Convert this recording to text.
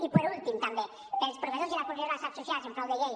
i per últim també per als professors i les professores associats i en frau de llei